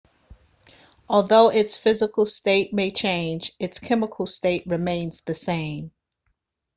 although its physical state may change its chemical state remains the same